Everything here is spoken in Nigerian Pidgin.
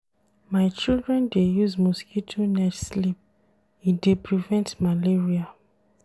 My children dey use mosquito net sleep, e dey prevent malaria.